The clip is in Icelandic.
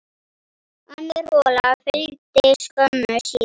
Önnur hola fylgdi skömmu síðar.